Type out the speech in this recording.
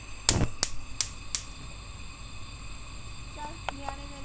ਚੱਲ ਨਿਆਣੇ ਨਿਆਣੇ।